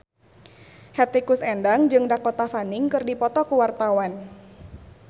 Hetty Koes Endang jeung Dakota Fanning keur dipoto ku wartawan